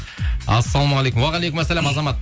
ассалаумағалейкум уағалейкум азамат